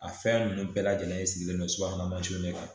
A fɛn ninnu bɛɛ lajɛlen sigilen don subahana mansinw de kan